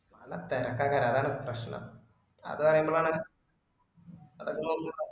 അല്ല തിരക്ക് അങ്ങനാ അതാണ് പ്രശ്‍നം അത് പറയുമ്പഴാണ് അതൊക്കെ നോക്കിക്കോ